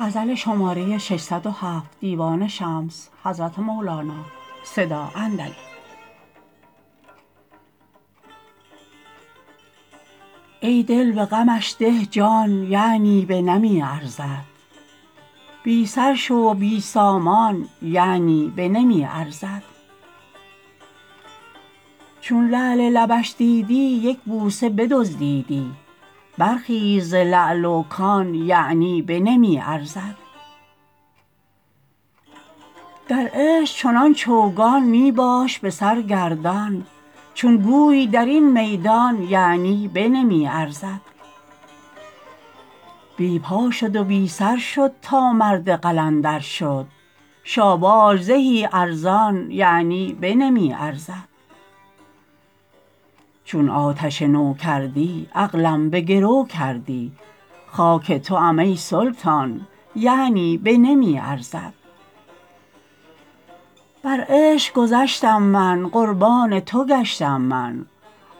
ای دل به غمش ده جان یعنی بنمی ارزد بی سر شو و بی سامان یعنی بنمی ارزد چون لعل لبش دیدی یک بوسه بدزدیدی برخیز ز لعل و کان یعنی بنمی ارزد در عشق چنان چوگان می باش به سر گردان چون گوی در این میدان یعنی بنمی ارزد بی پا شد و بی سر شد تا مرد قلندر شد شاباش زهی ارزان یعنی بنمی ارزد چون آتش نو کردی عقلم به گرو کردی خاک توام ای سلطان یعنی بنمی ارزد بر عشق گذشتم من قربان تو گشتم من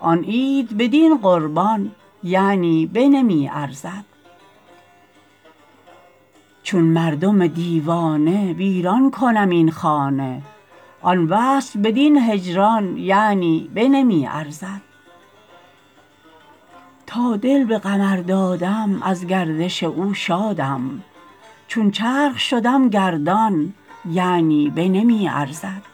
آن عید بدین قربان یعنی بنمی ارزد چون مردم دیوانه ویران کنم این خانه آن وصل بدین هجران یعنی بنمی ارزد تا دل به قمر دادم از گردش او شادم چون چرخ شدم گردان یعنی بنمی ارزد